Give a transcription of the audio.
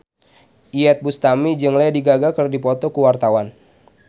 Iyeth Bustami jeung Lady Gaga keur dipoto ku wartawan